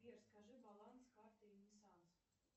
сбер скажи баланс карты ренессанс